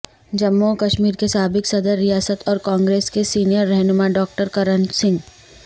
جموں و کشمیر کے سابق صدر ریاست اور کانگریس کے سینئر رہنما ڈاکٹر کرن سنگھ